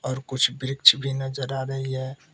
कुछ वृक्ष भी नजर आ रही है।